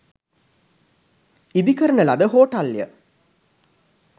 ඉදි කරන ලද හෝටල් ය.